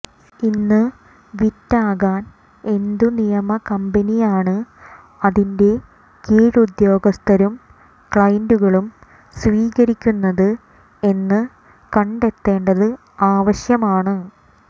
ഇന്ന് വിറ്റകാൻ എന്തു നിയമ കമ്പനിയാണ് അതിന്റെ കീഴുദ്യോഗസ്ഥരും ക്ലയന്റുകളും സ്വീകരിക്കുന്നത് എന്ന് കണ്ടെത്തേണ്ടത് ആവശ്യമാണ്